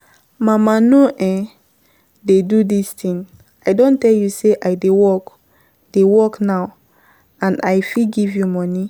Mama no um dey do dis thing, I don tell you say I dey work dey work now and I fit give you money